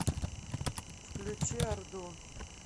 включи орду